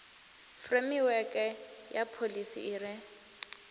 furemiweke ya pholisi i re